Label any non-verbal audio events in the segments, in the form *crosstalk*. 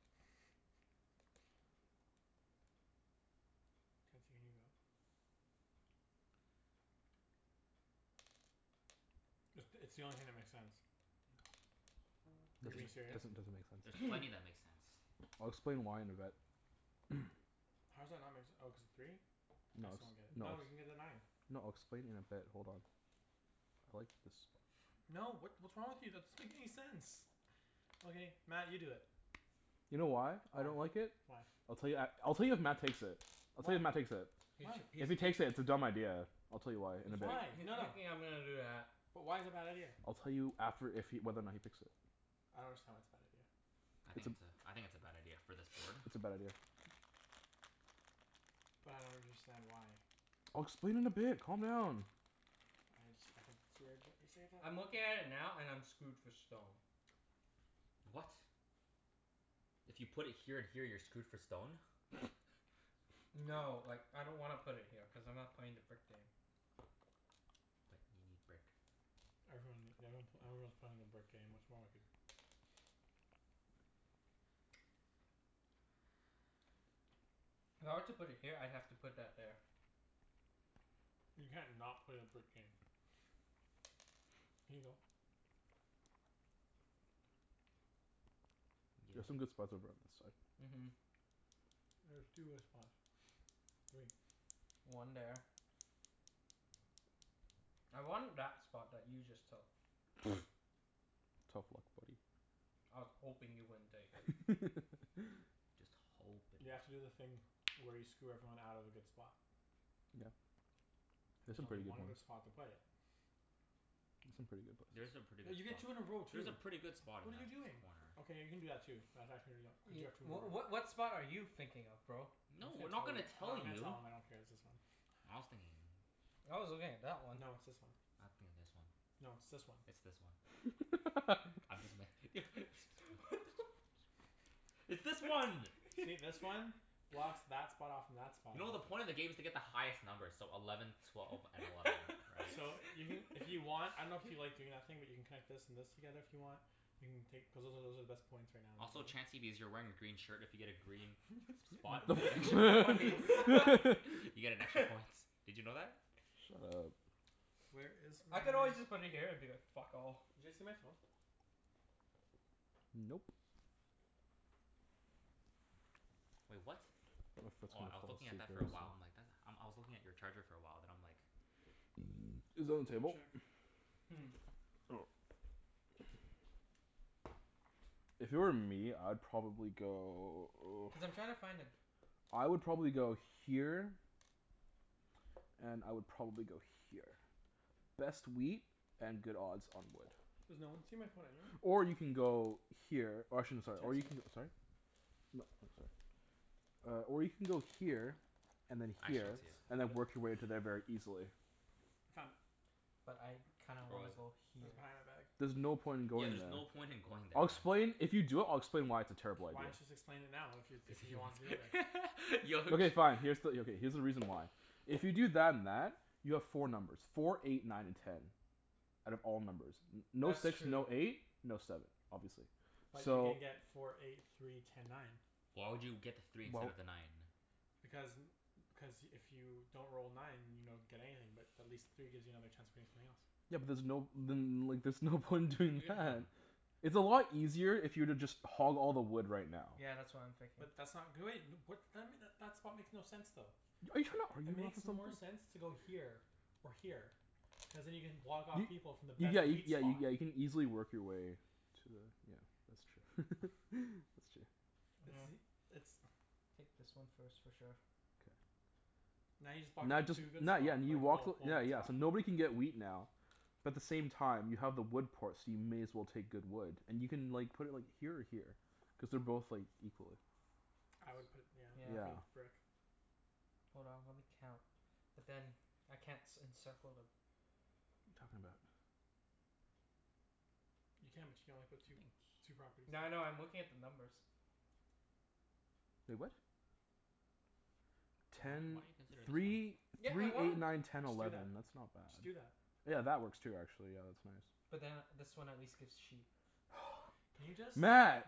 *laughs* Chancey, can you go? It's it's the only thing that makes sense. Is he being There's Doesn't there's serious? doesn't doesn't make sense. there's *noise* plenty that make sense. I'll explain why in a bit. *noise* How does that not make se- oh, cuz of three? I No it's, still don't get it. no No, you can get it's the nine. No, I'll explain in a bit. Hold on. I like this spot. *noise* No, what what's wrong with you? That's make any sense. Okay. Mat, you do it. You know why I don't Why? like it? Why? I'll tell you at, I'll tell you if Mat takes it. I'll tell Why? you if Mat takes it. K, so Why? he's If he he takes it, it's a dumb idea. I'll tell you why in he's a bit. thi- Why? he's No, no. thinking I'm gonna do that. But why is it a bad idea? I'll tell you after if he, whether or not he picks it. I don't understand why it's a bad idea. I It's think a it's a, I think it's a bad idea, for this board. *noise* *noise* *noise* It's a bad idea. But I don't understand why. I'll explain in a bit. Calm down. I just, I think it's weird that you say that. I'm looking at it now, and I'm screwed for stone. *noise* What? If you put it here and here you're screwed for stone? *noise* *laughs* No, like, I don't wanna put it here cuz I'm not playing the brick game. But you need brick. Everyone ne- everyone pl- everyone's playing the brick game, what's wrong with you? *noise* If I were to put it here, I'd have to put that there. *noise* You can't not play the brick game. *noise* Can you go? *noise* There's some Yeah. good spots over on this side. Mhm. There's two good spots. *noise* Three. *noise* One there. I wanted that spot that you just took. *noise* *noise* Tough luck, buddy. I was hoping you wouldn't take it. *laughs* Just *noise* You have hopin'. to do the thing where you screw everyone out of a good spot. Yeah. There's There's some only pretty good one good ones. spot to play it. There's There's some some pretty good places. pretty good Cuz you get spots. two, you roll There's a two. pretty good spot in What are you Mat's doing? corner. Okay, you can do that too. That's actually *inaudible* Cuz you Ye- have two more w- of what what spot are you thinking of, bro? I'm No, not we're not gonna gonna tell you I dunno, tell I'm gonna you. tell him. I don't care. It's this one. I was thinking I was looking at that one. No, it's this one. I was thinking this one. No, it's this one. It's this one. I'm just *laughs* *laughs* What me- the *laughs* f- It's this one! See this one? *laughs* Blocks *laughs* that spot off from that spot. You know the point of the game is to get the highest numbers, so eleven twelve and eleven, right? So, you can if you want, I dunno if you like *laughs* doing that thing where you can connect this and this together if you want? You can take cuz those are, those are the best points right now in the Also, game. Chancey, because you're wearing a green shirt, if you get a green *laughs* spot, The you get extra points. f- *laughs* *laughs* You get an extra points. *laughs* Did you know that? Shut up. Where is my I could always just put it here, and be like, "Fuck all." Did you see my phone? Nope. Wait, what? My foot's Oh, gonna I was fall looking at asleep that for a very while. I'm soon. like, that, um I was looking at your charger for a while, then I'm like *noise* Is that it I'm on gonna the go table? check. Hmm. Oh. If it were me, I'd probably go Cuz I'm trying to find a I would probably go here and I would probably go here. Best wheat and good odds on wood. Does no one see my phone anywhere? Or you can go here Or I shouldn't, sorry, or you Chancey? can, sorry? No, I'm sorry. Uh, or you can go here and then I actually There it don't here, see it. is. I and found then it. work your way to there very *noise* easily. I found it. But I kinda Where wanna was it? go It was here. behind that bag. There's no point in Yeah, going there's no there. point in going there, I'll Mat. explain, if you do it I'll explain why it's a terrible idea. Why don't you just explain it now? If you, Cuz if he he wants to go there? wants *laughs* yo Okay fine. Here's the, yeah, okay, here's the reason why. If you do that and that you have four numbers. Four eight nine and ten. Out of all numbers. No That's six, true. no eight? No seven, obviously. But you So can get four eight three ten nine. Why would you get the Why three instead w- of the nine? Because n- cuz if you don't roll nine, you don't get anything, but at least three gives you another chance of getting something else. Yeah but there's no, then there's no point in doing Yeah. that. It's a lot easier if you were to just hog all the wood right now. Yeah, that's what I'm thinking. But that's not great. What then m- that that spot makes no sense though. Are you trying to It argue with me makes or more something? sense to go here. Or here. Cuz then you can block off Y- people from the y- yeah best you, wheat spot. yeah you can easily work your way. To a yeah, that's true. *laughs* That's true. It's Yeah. the, it's *noise* Take this one first, for sure. K. Now you just blocked Now that just too good not, yeah spot. *inaudible* and you walk th- yeah yeah, spot. so nobody can get wheat now. But the same time you have the wood port, so you may as well take good wood. And you can like put it like here or here. Cuz they're both like equally I would put it, Yeah, I yeah, for Yeah. the think. brick. Hold on, let me count. But then, I can't c- encircle the What are you talking about? You can, but you can only put two Nothing. two properties here. Yeah, I know. I'm looking at the numbers. Wait, what? Why don- Ten why don't you consider this one? three Yeah, I three wanna eight nine ten Just do that. eleven. That's not Just do bad. that. Yeah, that works too, actually. Yeah, that's nice. But then this one at least gives sheep. *noise* Can you *noise* just? Mat. Mat!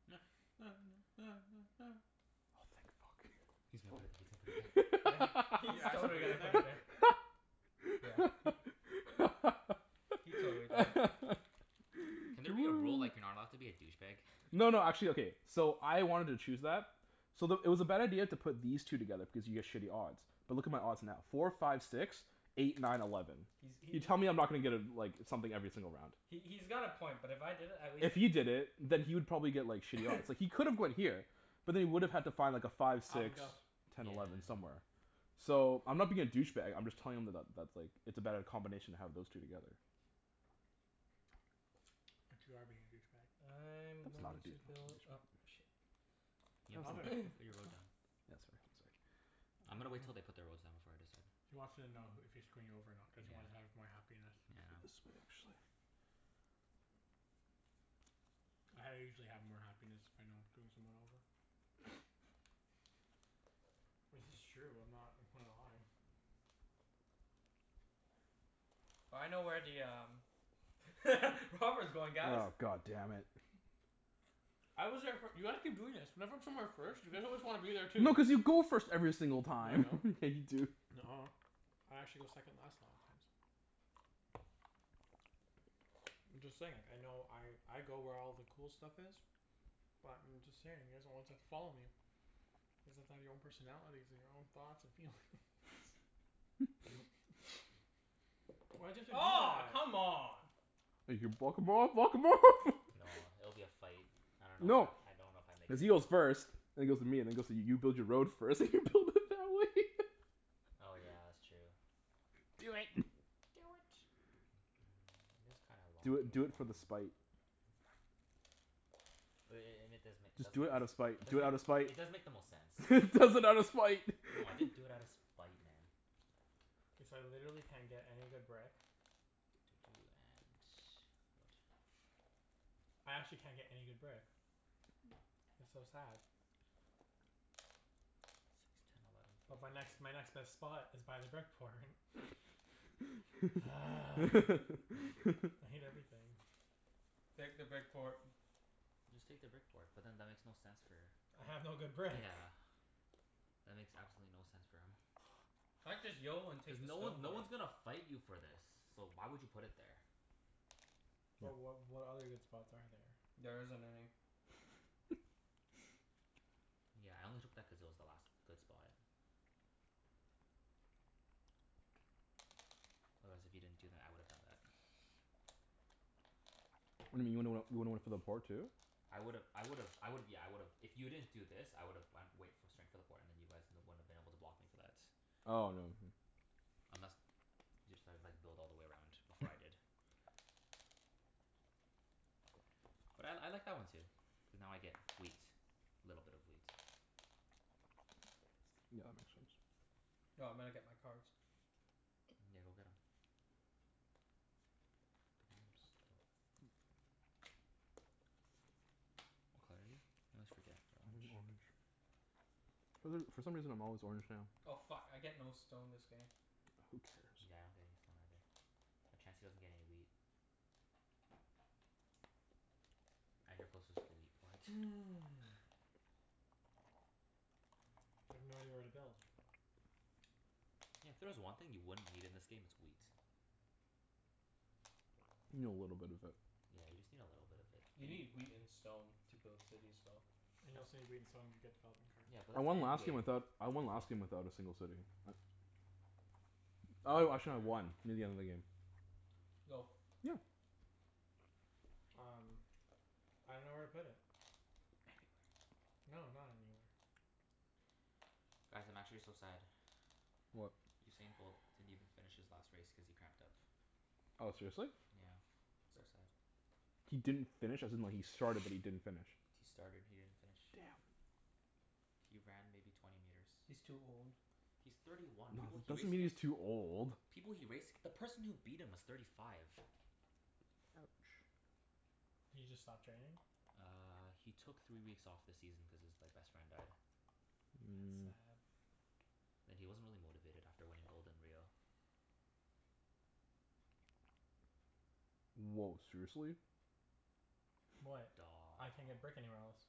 *noise* *noise* Oh thank fuck. He's gonna put it th- he's gonna put it there. Yeah, Are you he's actually totally putting it gonna put it there. there? *laughs* Yeah, he He totally did it. Can there be a rule like, you're not allowed to *laughs* be a douchebag? No no, actually, okay So I wanted to choose that so the, it was a bad idea to put these two together because you get shitty odds. But look at my odds now. Four five six. Eight nine eleven. He's he he You tell me I'm not gonna get a like something every single round. He he's got a point, but if I did it at least If he did it, then he would probably get like shitty odds. *noise* It's like he could have gone here. But then he would have had to find like a five, Alvin, six. go. Ten, Yeah. eleven somewhere. So, I'm not being a douchebag I'm just telling him that that that's like it's a better combination to have those two together. *noise* But you are being a douchebag. I'm That's not a going dou- to build douchebag up move. sh- You can Alvin. put *noise* put your road down. Yeah, sorry, sorry. *noise* I'm gonna wait til they put their roads down before I *noise* decide. He wants to know h- if he's screwing you over or not cuz he wants Yeah. half my happiness. Yeah. *inaudible* *noise* I usually have more happiness if I know I'm screwing someone over. *noise* Well, it's just true. I'm not gonna lie. *noise* I know where the um *laughs* Robber's going, guys. Oh, god damn it. I was there fir- *inaudible* When I go somewhere first you always wanna be there too. No, cuz you go first every single No, I time. don't. *laughs* Yeah, you do. Nuh- ah. I actually go second last a lot of times. *noise* *noise* I'm just saying, like I know I I go where all the cool stuff is but I'm just saying, you guys are the ones that follow me. *inaudible* your own personalities your own thoughts and feelings. *noise* *laughs* *laughs* *laughs* Why'd you have to do Aw, that? come on. You can block him off, block him off! No, *laughs* it'll be a fight. I dunno No. if I I dunno if I make Cuz he goes *inaudible* first and then goes to me, and then goes to you build your road first and you build it that way. *laughs* Oh yeah, that's true. Do it. *noise* Do it. *noise* It is kind of a long Do it, do it for game the plan. spite. *noise* But i- i- it and it does make it Just does do make it it out of spite. Do it out of does make spite! it does make the most sense. *laughs* He does it out of spite! No, I *laughs* didn't do it outta spite, man. K, so I literally can't get any good brick. Doo doo doo and wood. I actually can't get any good brick. It's so sad. Six *noise* ten eleven But my next my next *inaudible* best spot is by the brick port. *laughs* *noise* I *laughs* hate *laughs* everything. *noise* Take the brick port. Just take the brick port. But then that makes no sense for I have no good brick. Yeah. That makes absolutely no sense for him. I'd just *inaudible* and take Cuz the no stone one no port. one's gonna fight you for this. So why would you put it there? But Yeah. wh- what other good spots are there? There isn't any. *laughs* *laughs* Yeah, I only took that cuz it was the last good spot. Otherwise, if you didn't do that I would've done that. *noise* *noise* What do you mean you would've went, you would've went for the port too? I would've I would've I would've, yeah, I would've, if you didn't do this, I would've went wait straight for the port and then you guys wouldn't have been able to block me for that. Oh no, yeah. Unless you decided like, build all the way around before I did. But I I like that one too. Cuz now I get wheat. Little bit of wheat. Yeah, that makes sense. *noise* No, I'm gonna get my cards. Okay, go get 'em. *inaudible* What color are you? I always forget. Orange. *inaudible* For th- for some reason I'm always orange now. Oh fuck, I get no stone this game. Who cares? Yeah, I don't get any stone either. But Chancey doesn't get any wheat. And you're closest to the wheat port. *laughs* Mm. I have no idea where to build. Yeah, if there was one thing you wouldn't need in this game, it's wheat. You need a little bit of it. Yeah, you just need a little bit of it. A You n- need wheat and stone to build cities, though. And you That's also need wheat and stone to get a development card. Yeah, but I that's won the end last game without, game. That's I won last end game game. without a single city. I Oh wait, actually I had *noise* one *inaudible* near the end of the game. *noise* Go. Yeah. Um I dunno where to put it. *noise* Anywhere. No, not anywhere. Guys, I'm actually so sad. What? Usain Bolt didn't even finish his last race cuz he cramped up. Oh, seriously? Yeah. So sad. He didn't finish? As in like, he started but he didn't finish? He started. He didn't finish. Damn. He ran maybe twenty meters. He's too old. He's thirty one. No, People it he doesn't raced mean he's against too old. People he raced, the person who beat him was thirty five. Ouch. He just stopped training? Uh, he took three weeks off this season cuz his like best friend died. That's Mm. sad. And he wasn't really motivated after winning gold in Rio. Woah, seriously? What? I can't get brick Daw anywhere else.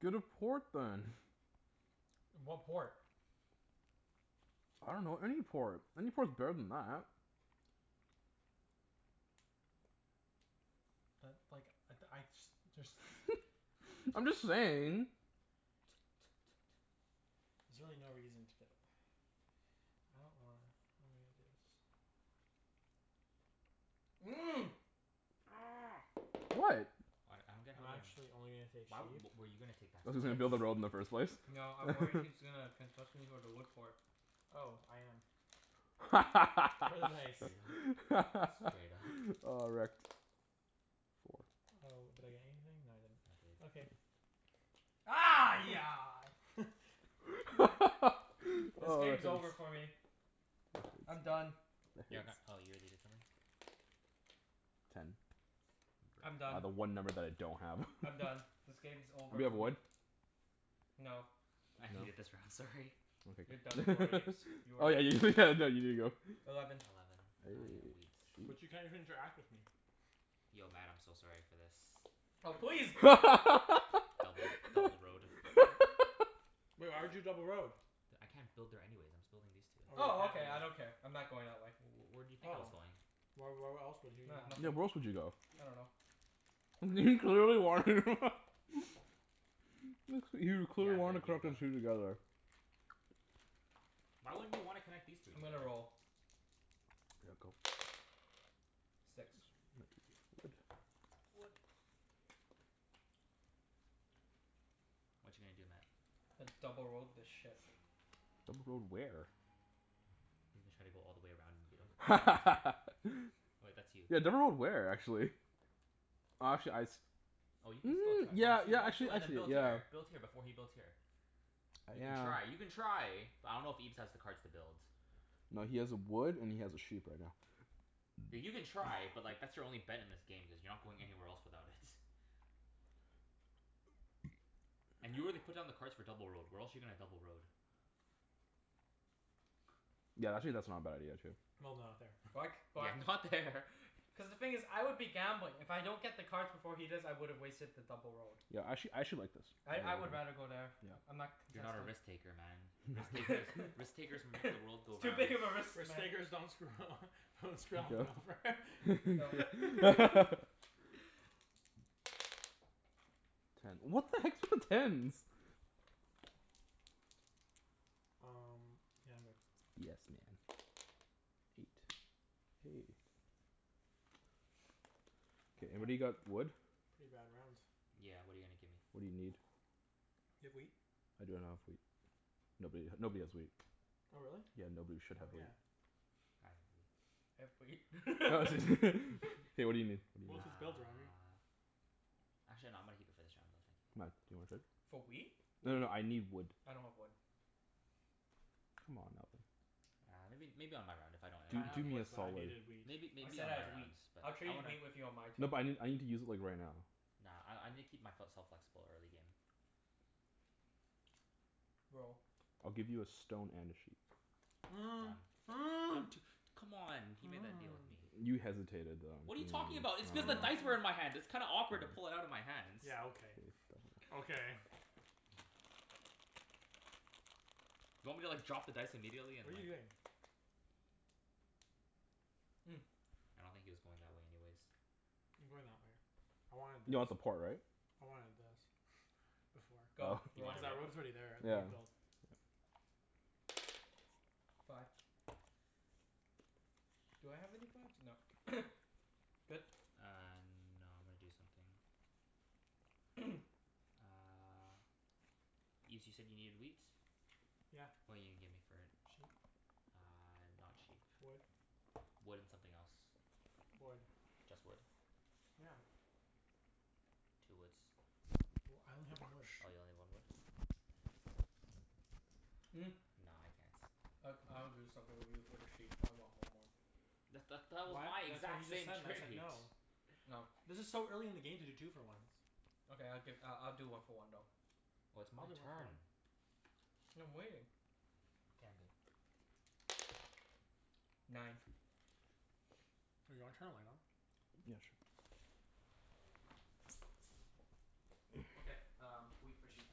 Get a port then. *noise* What port? I dunno, any port. Any port's better than that. But like, I d- I just just *noise* *laughs* I'm just saying. T- t- t- t- There's really no reason to get it. *noise* I don't wanna, how am I gonna do this? *noise* What? What? I don't get I'm how they're actually only gonna take Why w- sheep. were you gonna take that spot? Cuz he's gonna build a road in the first place? No, I'm worried *laughs* he's gonna consistently go to wood port. Oh, I am. *inaudible* nice. Straight up. Straight up. *laughs* Oh, wrecked. Four. Oh, did I get anything? No, I didn't. I did. Okay. *noise* *laughs* *laughs* This Oh, game's that's nice. over for me. I'm done. *inaudible* You're g- oh, you already did something? Ten. I'm I got done. the one number that I don't have. I'm done. *laughs* This game's over Anybody have for me. wood? No. I hated this No? round, Sorry. You're done, Okay. poor Ibs. *laughs* You are Oh yeah you *laughs* you did go. Eleven. Eleven. I Hey. get wheat. Gee. But you can't even interact with me. Yo Mat, I'm so sorry for this. Oh please! Double double road. *laughs* Woah, why'd you double road? D- I can't build there anyways. I'm still building these two. Oh, Oh, okay. you I don't *inaudible* care. I'm not going that way. W- w- where do you think I was Oh. going? Why, wh- where else would he Nah, wanna Yeah, nothing. where else would you go? I dunno. *laughs* He clearly wanted him. *laughs* *laughs* Looks like, he Yeah, clearly I'm wanted good. *inaudible* You can go. together. *noise* Why wouldn't you wanna connect these three I'm gonna together? roll. *noise* Go. Six. Whatcha gonna do, Mat? I double road this shit. Double road where? He's gonna try to go all the way around and beat him. One two. *laughs* Wait, that's you. Yeah, double road where, actually? *noise* Oh, actually I s- Oh, you can still Mm, try. Once yeah you yeah, once actually you and then actually build yeah here build here, before he builds here. You can Yeah. try. You can try. But I dunno if Ibs has the cards to build. No, he has a wood and he has a sheep right now. Th- you can *noise* try, but like, that's your only bet in this game cuz you're not going anywhere else without it. *noise* *noise* And you already put down the cards for double road. Where else you gonna double road? Yeah, that's actually not a bad idea too. No no, not there. Why c- *laughs* Yeah, why not there. Cuz the thing is I would be gambling. If I don't get the cards before he does, I would've wasted the double road. Yeah, actually, I actually like this. I I would rather go there. I'm not You're not a contesting. risk taker, man. Risk takers, risk takers make the *noise* world It's go too round. big of a risk, Risk man. takers don't screw *laughs* Go. Go. *inaudible* *laughs* *laughs* *laughs* Ten. What the heck's with the tens? Um, yeah, I'm good. Yes man. Eight. Hey K, I can't anybody got wood? Pretty bad rounds. Yeah, what are you gonna give me? What do you need? You have wheat? I don't have wheat. Nobody h- nobody has wheat. Oh, really? Yeah, nobody should Oh, have wheat. yeah. I have wheat. *laughs* *laughs* *laughs* K, what do you need? Well, What if do he's *inaudible* you need? Uh Actually no, I'm gonna keep it for this round though, thank you. Mat? Do you wanna trade? For wheat? No no Wood. no, I need wood. I don't have wood. Come on, Alvin. Uh, maybe maybe on my round, if I don't end Do I up do have using me it. a wood, but I solid. needed wheat. Maybe I maybe said on I my had wheat. rounds but I'll I trade wanna wheat with you on my turn. No but I n- I need to use it like, right now. Nah, I I need to keep my fel- self flexible, early game. Roll. I'll give you a stone and a sheep. Done. Um two, *noise* come on, he made that deal with *noise* me. You hesitated though. What are you talking about? It's cuz the dice were in *noise* my hand. It's kinda awkward to pull it outta my hands. Yeah, okay. Okay. *noise* Do you want me to like drop the dice immediately What are and you like doing? Mm. I don't think he was going that way anyways. *noise* I'm going that way. I wanted this. You want the port, right? I wanted this *laughs* before. Go. Oh. You Roll. Cuz wanted what before? Yeah. I *inaudible* Fi- Do I have any fives? No. *noise* Good? Uh, no, I'm gonna do something. *noise* *noise* Uh Ibs, you said you needed wheat? Yeah. What are you gonna give me for it? Sheep? Ah, not sheep. Wood? Wood and something else. Wood. Just wood? Yeah. Two woods. Well, I only have one wood. Oh, you only one wood? Mm. Ah, no, I can't. I g- I would do something with you for the sheep, but I want one more. That's th- that was my What? That's what he exact just same said and I said trade. no. No. This is so early in the game to do two for ones. Okay, I'll gi- I'll do one for one though. Well I'll it's my do one for turn. one. And I'm waiting. K, I'm good. Nine. *noise* Do you wanna turn a light on? Yeah, sure. Okay, *noise* um wheat for sheep.